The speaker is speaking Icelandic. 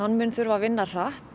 mun þurfa að vinna hratt